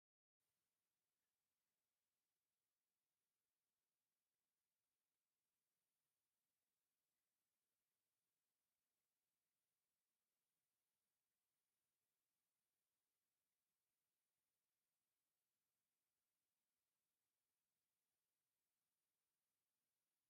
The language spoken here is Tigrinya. ኣብዚ ሓደ ሰብኣይ ምስ ክልተ ንኣሽቱ ቆልዑ ኣብ ቅድሚ ሓጹር ደው ኢሉ ኣሎ። እታ ሓንቲ ቆልዑ ብጫ ስረን ቀይሕ ክዳንን ተኸዲና፡ እቲ ካልኣይ ድማ ቀይሕ ክዳንን ቀጠልያ ጃኬትን ተኸዲነን ይርከብ። እዞም ሰባት እዚኦም ስድራ ዶ ይመስለኩም?